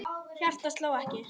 Hjartað sló ekki.